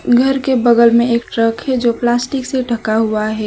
घर के बगल में एक ट्रक है जो प्लास्टिक से ढका हुआ है।